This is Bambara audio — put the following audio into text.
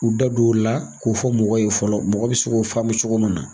K'u da don o la k'o fɔ mɔgɔw ye fɔlɔ, mɔgɔ bi se k'o faamu cogo min na.